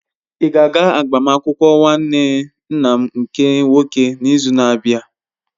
Ị ga-aga agbamakwụkwọ nwanne nna m nke nwoke n'izu na-abịa?